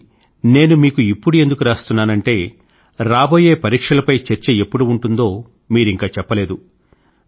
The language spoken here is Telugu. కానీ నేను మీకు ఇప్పుడు ఎందుకు రాస్తున్నానంటే రాబోయే పరీక్షలపై చర్చ ఎప్పుడు ఉంటుందో మీరింకా చెప్పలేదు